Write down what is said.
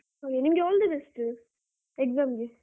ಹಾಗೆ ನಿಮ್ಗೆ all the best exam ಗೆ.